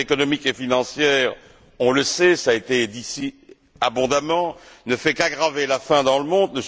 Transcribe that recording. La crise économique et financière, on le sait, ça été dit abondamment, ne fait qu'aggraver la faim dans le monde.